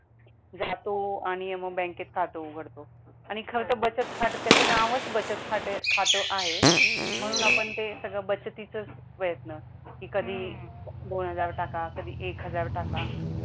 जातो आणि मग बँकेत खात उघडतो आणि खर तर बचत खात त्याच नावच बचत खात आहे म्हणून आपण ते सगळं बचातीचच प्रयत्न कि कधी दोन हजार टाका कधी एक हजार टाका